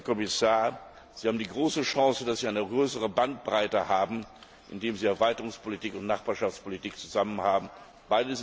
Herr Kommissar, Sie haben die große Chance, dass Sie eine größere Bandbreite haben, indem Sie für Erweiterungspolitik und Nachbarschaftspolitik zusammen zuständig sind.